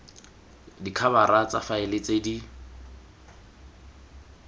dikhabara tsa faele tse di